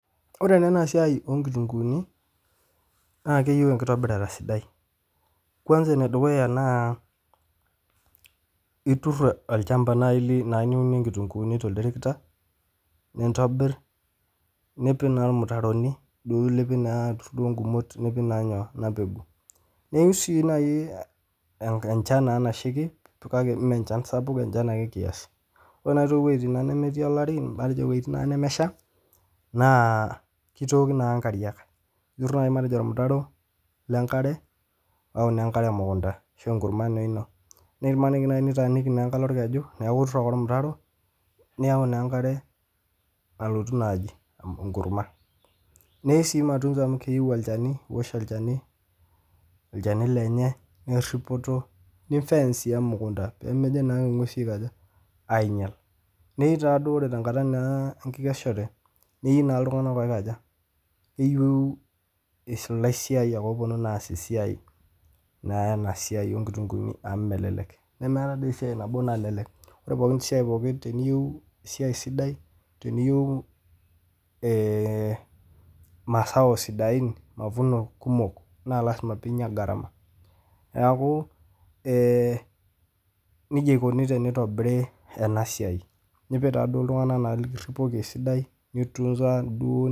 Kore ena naa esiaai oo nkitunguuni, naa keyeu inkitobirata sidai, kwansa ne dukuya naa iturr olchamba naa liunuie nkitunguuni to lterekta, nintobirr, nipik naa ilmitaroni duo lipik naa tooo nkumot nipik naa nyoo ena pegu, neyeu sii nai enchan nachaki mee emchan sapuk, enchan ake kiasi, ore naa wejitin nemetiii larii matejo wejitin naa nemesha naa keitooki naa nkariak, iturr naii matejo irmitarro le nkare au ne nkare e mukuntaa ashu inkurrumwa naa ino, nemaniki naa nitaaniki nkalo lkeju, naaku iturr ake irmitarro, niyau naa enkare alotu naaji enkurrumwa, neyeu sii matunzo amu keyeu olcheni, olcheni lenye, oripoto ninfence naa sii emukunta pemejo naa i gwesi aikoja, ainyal, neyeu naa ore te nkata naa enkikeshore, neyeu naa ltunganak oikoja, neyeu eisul laisiayak ooponu aas esiai, naa ena siaai oo nkitunguuni amu melelek namara dei esiai nabo nalelek, ore pookin siai teniyeu esiai esidai, teniyeu masaa osidain, mafuno kumok naa lasima piinya gharama, naaku neja eikoni teneitobiri ena siaai, nipik taa duo naa ltunganak likiripoki esidai neitunza duo.